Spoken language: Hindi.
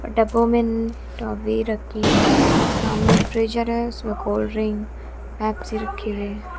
डब्बो मे ल टोबी रखी है सामने फ्रीजर है उसमें कोल्ड ड्रिंक पेप्सी रखी हुई है।